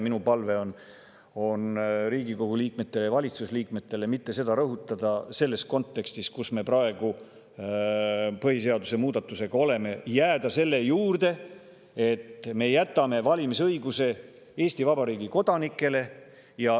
Minu palve on Riigikogu liikmetele ja valitsuse liikmetele seda mitte rõhutada selles kontekstis, kus me praegu põhiseaduse muudatusega oleme, ning jääda selle juurde, et me jätame valimisõiguse Eesti Vabariigi kodanikele.